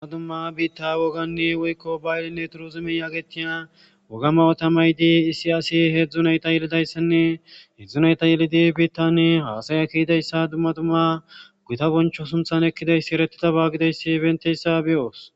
dumma dumma biitta woganne woykko bayllinne turuuzimen agetiya wogama otamay dii issi asi heedzdzunayta yelidayssinne heedzdzunayta yelidi biittani haasaya kiyidayssa dumma dumma guta boncho sumthan ekkidayssi eretida baagideyssi benteyssa beyoos